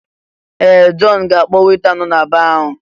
Ee! Jọn ga-akpọ weta nọ na baa ahụ.